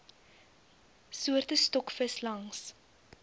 soorte stokvis langs